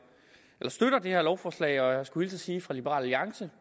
det her lovforslag og jeg skulle hilse og sige fra liberal alliance